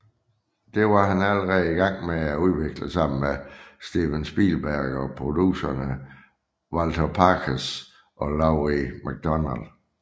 Dette var han allerede i gang med at udvikle sammen med Steven Spielberg og producerne Walter Parkes og Laurie MacDonald